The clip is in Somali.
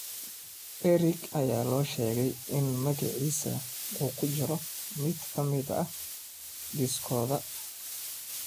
Eric ayaa loo sheegay in magaciisa uu ku jiro mid ka mid ah liiskooda.